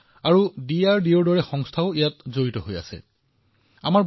সেয়েহে ই নৌসেনা বায়ু সেনা সেনা আৰু আমাৰ প্ৰতিষ্ঠানসমূহৰ DRDOৰ দৰে সংস্থাসমূহো জড়িত হৈ আছে